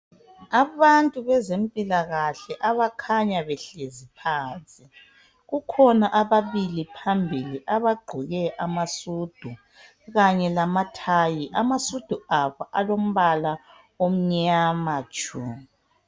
Abantu bezempilakahle abakhanya behlezi phansi kukhona ababili phambili abagqoke amasudu kanye lamathayi amasudu abo alombala omnyama tshu